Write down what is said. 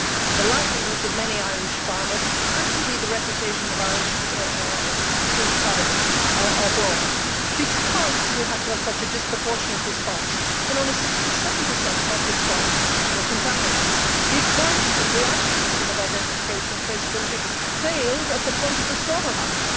The livelihoods of many Irish farmers, and indeed the reputation of Irish food products abroad suffered because we had to have such a disproportionate response, when only six to seven per cent of our pig farms were contaminated, since the Irish system of identification and traceability failed at the point of the slaughter house.